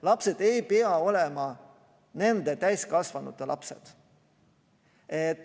Lapsed ei pea olema nende täiskasvanute lapsed.